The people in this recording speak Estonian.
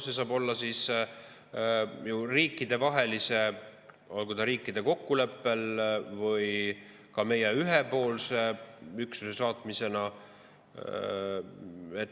See saab olla riikidevaheline, riikide kokkuleppel või ka meie ühepoolne üksuse saatmine.